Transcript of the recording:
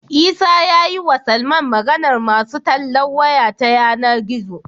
Isa yayi wa Salman Maganar masu tallan waya ta yAna gizo